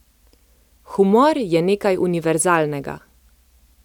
Humor je nekaj univerzalnega.